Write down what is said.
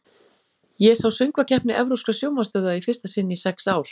Ég sá Söngvakeppni evrópskra sjónvarpsstöðva í fyrsta sinn í sex ár.